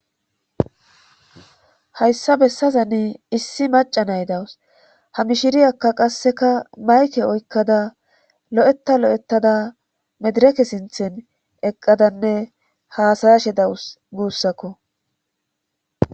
Hayssa bessazani issi maca naydawus hami shiriyakka qasseka mayke oykkada lo7etta lo7ettada medireke sinthen eqqadanne haasayashe dawus guussakko.